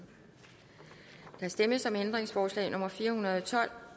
der stemmes om ændringsforslag nummer fire hundrede og tolv